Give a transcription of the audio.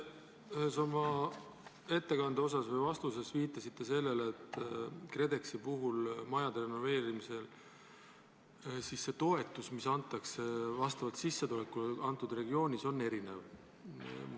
Te ühes oma ettekande osas või vastuses viitasite sellele, et KredExi majade renoveerimise toetus, mida antakse vastavalt sissetulekutele regioonis, on erinev.